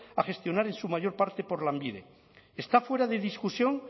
a gestionar en su mayor parte por lanbide está fuera de discusión